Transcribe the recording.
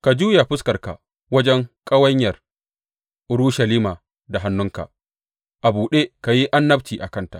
Ka juya fuskarka wajen ƙawanyar Urushalima da hannunka a buɗe ka yi annabci a kanta.